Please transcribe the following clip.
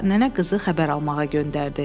Sonra nənə qızı xəbər almağa göndərdi.